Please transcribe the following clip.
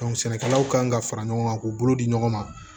sɛnɛkɛlaw kan ka fara ɲɔgɔn kan k'u bolo di ɲɔgɔn ma